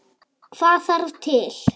Hvað þarf til?